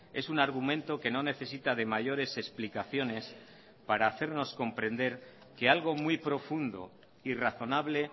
es un argumento que no necesita de mayores explicaciones para hacernos comprender que algo muy profundo y razonable